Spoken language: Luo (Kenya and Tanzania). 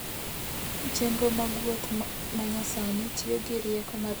Chenro mag wuoth ma nyasani tiyo gi rieko mar dhano mondo okonygi.